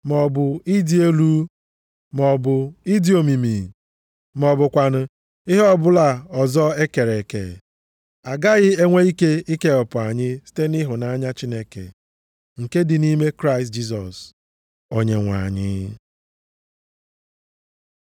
maọbụ ịdị elu, maọbụ ịdị omimi, ma ọ bụkwanụ ihe ọbụla ọzọ e kere eke, agaghị enwe ike ikewapụ anyị site nʼịhụnanya Chineke, nke dị nʼime Kraịst Jisọs Onyenwe anyị.